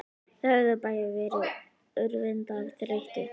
Þau höfðu bæði verið úrvinda af þreytu.